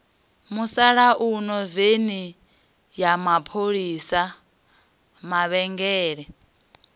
musalauno veni ya mapholisa mavhengele